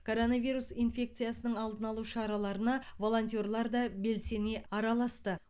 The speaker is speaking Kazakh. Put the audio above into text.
коронавирус инфекциясының алдын алу шараларына волонтерлар да белсене араласты